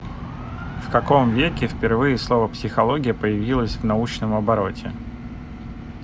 в каком веке впервые слово психология появилось в научном обороте